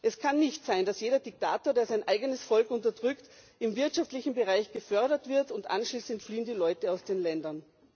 Es kann nicht sein, dass jeder Diktator, der sein eigenes Volk unterdrückt, im wirtschaftlichen Bereich gefördert wird, und anschließend fliehen die Leute aus den Ländern.